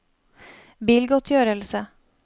bilgodtgjørelse